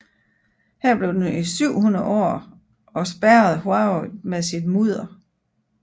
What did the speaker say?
Her blev den i 700 år og spærrede Huai med sit mudder